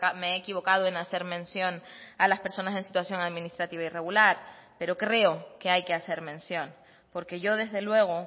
me he equivocado en hacer mención a las personas en situación administrativa irregular pero creo que hay que hacer mención porque yo desde luego